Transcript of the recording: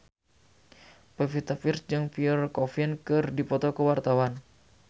Pevita Pearce jeung Pierre Coffin keur dipoto ku wartawan